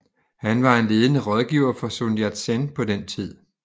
Han var en ledende rådgiver for Sun Yat Sen på den tid